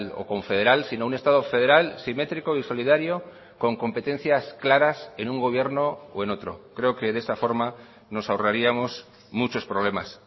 o confederal sino un estado federal simétrico y solidario con competencias claras en un gobierno o en otro creo que de esta forma nos ahorraríamos muchos problemas